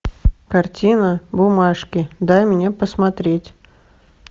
картина бумажки дай мне посмотреть